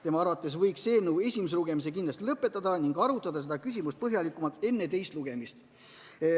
Tema arvates võiks eelnõu esimese lugemise kindlasti lõpetada ning arutada seda küsimust põhjalikumalt enne teist lugemist.